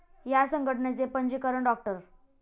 या संघटनेचे पंजीकरण डॉ.